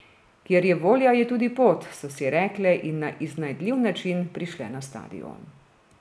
Kjer je volja, je tudi pot, so si rekle in na iznajdljiv način prišle na stadion.